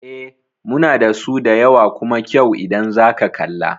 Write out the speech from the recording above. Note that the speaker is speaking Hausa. Eh, muna dasu da yawa kuma kyau idan zaka kalla